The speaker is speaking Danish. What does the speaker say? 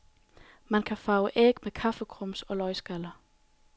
Man kan farve æg med kaffegrums og løgskaller.